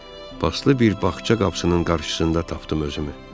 Paslı bir bağça qapısının qarşısında tapdım özümü.